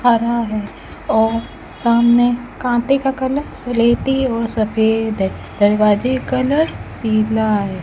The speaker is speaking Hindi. हरा हैं और सामने काटे का कलर सलेटी और सफेद हैं दरवाजे कलर पिला हैं।